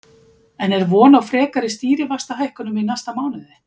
En er von á frekari stýrivaxtahækkunum í næsta mánuði?